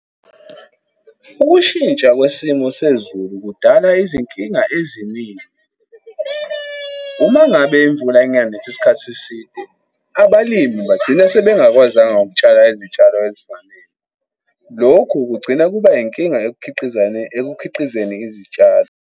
Ukushintsha kwesimo sezulu kudala izinkinga eziningi. Uma ngabe imvula inganethi isikhathi eside, abalimi bagcina sebengakwazanga ukutshala izitshalo ezifanele. Lokhu kugcina kuba yinkinga ekukhiqizeni izitshalo.